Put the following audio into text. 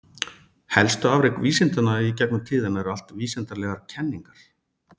Helstu afrek vísindanna í gegnum tíðina eru allt vísindalegar kenningar.